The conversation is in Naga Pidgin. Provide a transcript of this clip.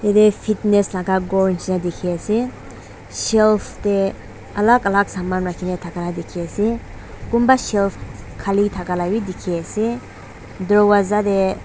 yete fitness laka ghor nishina diki ase shelf de alak alak saman raki kina daka diki asekunba shelf kali daka labi diki ase doorwaaza de.